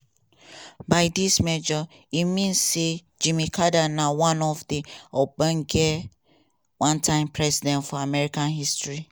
by dis measure e mean say jimmy carter na one of di ogbonge one term presidents for american history".